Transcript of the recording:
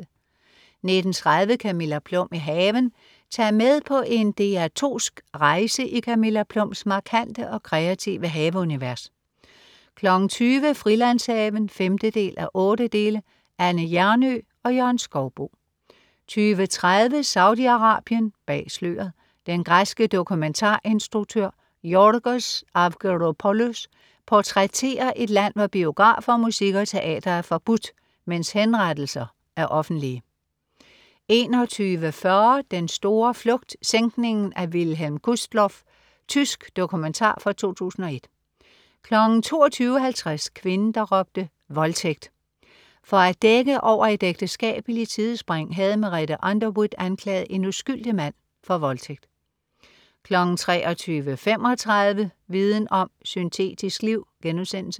19.30 Camilla Plum i haven. Tag med på en DR2sk rejse i Camilla Plums markante og kreative haveunivers 20.00 Frilandshaven 5:8. Anne Hjernøe og Jørgen Skouboe 20.30 Saudi-Arabien, bag sløret. Den græske dokumentarinstruktør Yorgos Avgeropoulos portrætterer et land, hvor biografer, musik og teater er forbudt, mens henrettelser er offentlige 21.40 Den store flugt, sænkningen af Wilhelm Gustloff. Tysk dokumentar fra 2001 22.50 Kvinden der råbte voldtægt!. For at dække over et ægteskabeligt sidespring havde Merete Underwood anklaget en uskyldig mand for voldtægt 23.35 Viden om: Syntetisk liv*